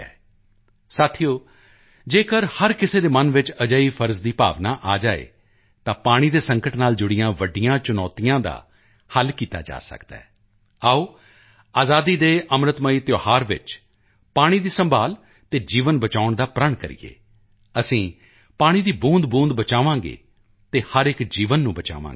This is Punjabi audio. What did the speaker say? ਦੋਸਤੋ ਜੇਕਰ ਹਰ ਕਿਸੇ ਦੇ ਮਨ ਵਿੱਚ ਅਜਿਹੀ ਫ਼ਰਜ਼ ਦੀ ਭਾਵਨਾ ਆ ਜਾਵੇ ਤਾਂ ਪਾਣੀ ਦੇ ਸੰਕਟ ਨਾਲ ਜੁੜੀਆਂ ਵੱਡੀਆਂ ਚੁਣੌਤੀਆਂ ਦਾ ਹੱਲ ਕੀਤਾ ਜਾ ਸਕਦਾ ਹੈ ਆਓ ਆਜ਼ਾਦੀ ਕੇ ਅੰਮ੍ਰਿਤਮਈ ਤਿਉਹਾਰ ਵਿੱਚ ਪਾਣੀ ਦੀ ਸੰਭਾਲ਼ ਅਤੇ ਜੀਵਨ ਬਚਾਉਣ ਦਾ ਪ੍ਰਣ ਕਰੀਏ ਅਸੀਂ ਪਾਣੀ ਦੀ ਬੂੰਦਬੂੰਦ ਬਚਾਵਾਂਗੇ ਅਤੇ ਹਰ ਇੱਕ ਜੀਵਨ ਨੂੰ ਬਚਾਵਾਂਗੇ